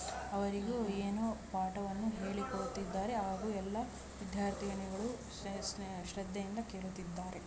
ಅವರಿಗೂ ಏನೋ ಪಾಠವನ್ನು ಹೇಳಿಕೊಡುತ್ತಿದ್ದಾರೆ ಹಾಗೂ ಎಲ್ಲಾ ವಿದ್ಯಾರ್ಥಿಗಳು ಶ್ರದ್ಧೆಯಿಂದ ಕೇಳುತ್ತಿದ್ದಾರೆ.